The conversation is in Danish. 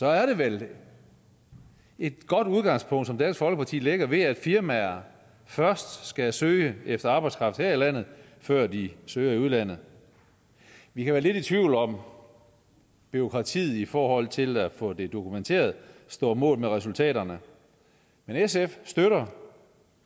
er det vel et godt udgangspunkt som dansk folkeparti lægger ved at firmaer først skal søge efter arbejdskraft her i landet før de søger i udlandet vi kan være lidt i tvivl om om bureaukratiet i forhold til at få det dokumenteret står mål med resultaterne men sf støtter